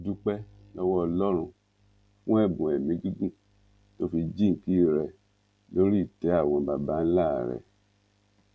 mo dúpẹ lọwọ ọlọrun fún ẹbùn ẹmí gígùn tó fi jinńkí rẹ lórí ìtẹ àwọn babańlá rẹ